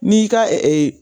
N'i y'i ka